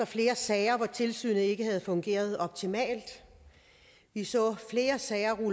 flere sager hvor tilsynet ikke havde fungeret optimalt vi så flere sager blive